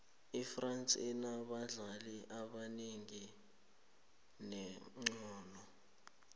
ifrance inabadlali abanengi abanexhono